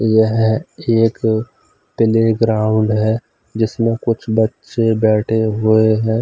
यह एक -playground है जिसमे कुछ बच्चे बैठे हुए हैं।